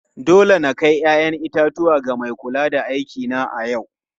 Dole na kai 'ya'yan itatuwa ga mai kula da aikina a yau.